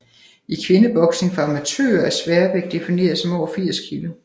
I kvindeboksning for amatører er sværvægt defineret som over 80 kg